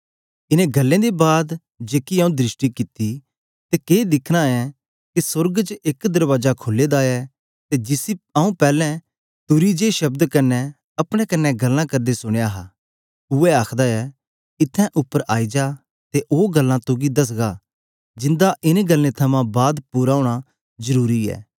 इनें गल्लें दे बाद जेकी आऊँ दृष्टि कित्ती ते के दिखना ऐ के सोर्ग च एक दरबाजा खुले दा ऐ ते जिसी आऊँ पैलैं तुरी दे जे शब्द कन्ने अपने कन्ने गल्लां करदे सुनया हा उवै आखदा ऐ इत्थैं उपर आई जा ते आऊँ ओ गल्लां तुगी दसगा जिंदा इनें गल्लें थमां बाद पूरा ओना जरुरी ऐ